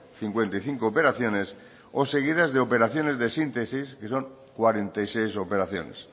cincuenta y cinco operaciones o seguidas de operaciones de síntesis que son cuarenta y seis operaciones